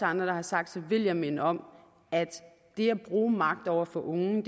andre der har sagt vil jeg minde om at det at bruge magt over for unge